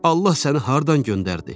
Allah səni hardan göndərdi?